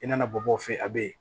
I nana bɔ o fɛ yen a bɛ yen